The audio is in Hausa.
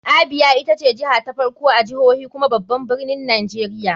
Abia ita ce jiha ta farko a jihohi kuma babban birnin nigeria.